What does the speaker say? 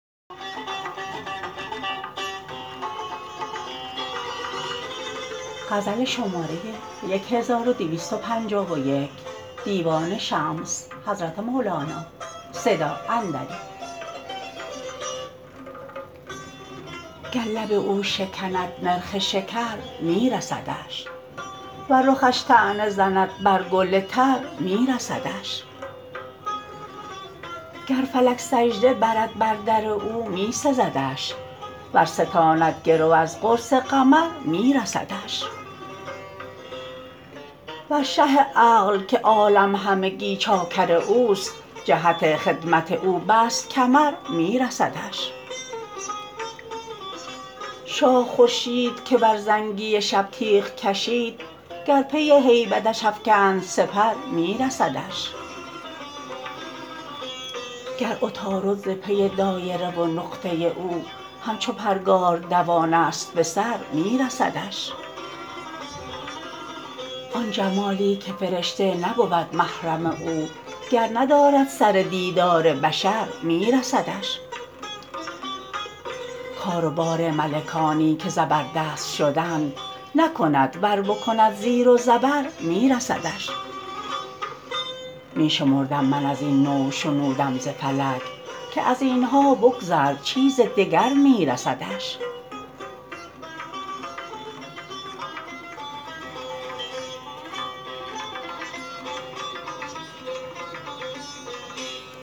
گر لب او شکند نرخ شکر می رسدش ور رخش طعنه زند بر گل تر می رسدش گر فلک سجده برد بر در او می سزدش ور ستاند گرو از قرص قمر می رسدش ور شه عقل که عالم همگی چاکر اوست جهت خدمت او بست کمر می رسدش شاه خورشید که بر زنگی شب تیغ کشید گر پی هیبتش افکند سپر می رسدش گر عطارد ز پی دایره و نقطه او همچو پرگار دوانست به سر می رسدش آن جمالی که فرشته نبود محرم او گر ندارد سر دیدار بشر می رسدش کار و بار ملکانی که زبردست شدند نکند ور بکند زیر و زبر می رسدش می شمردم من از این نوع شنودم ز فلک که از این ها بگذر چیز دگر می رسدش